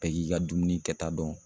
Bɛɛ k'i ka dumuni kɛta dɔn